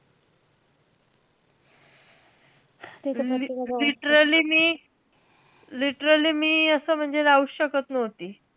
literally मी~ literally मी असं म्हणजे, राहूचं शकत नव्हती.